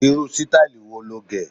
rú sítáílì wo lọ gé?